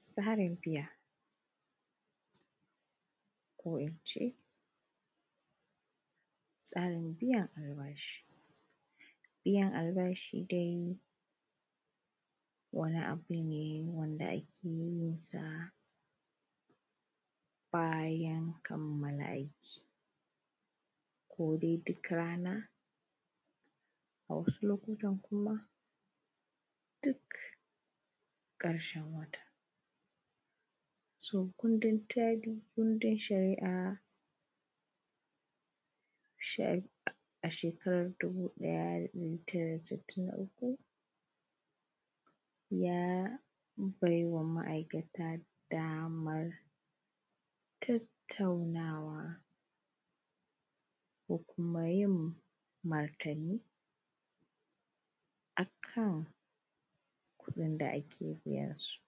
tsarin biya ko ince tsarin biyan albashi biyan albashi dai wani abu ne wanda ake yinsa bayan kamala aiki kodai duk rana a wasu lokutan kuma duk ƙarshen wata so kundi tsari kundin shari’a a shekara dubu ɗaya da ɗari tara da sitin da uku ya baiwa ma’aikata damar tattaunawa ko kuma yin martani akan kuɗin da ake biyansu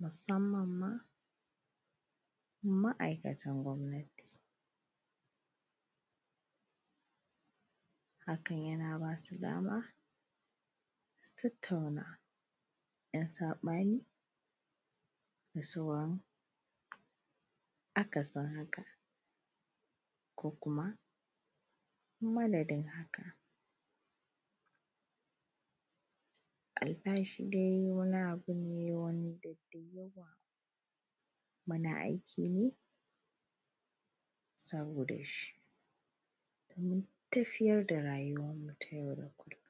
musamman ma ma’aikatan gwamnati hakan yana ba su dama su tattauna ‘yan saɓani da sauran akasin haka ko kuma madadin haka albashi dai wani abu ne wanda da yawa muna aiki ne saboda shi domin tafiyar da rayuwan mu ta yau da kullum